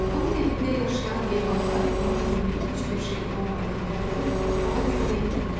Onun evində yaşayan heyvanlar onun yeməyi heç bir şey olmadığını görüb ona kömək etdilər.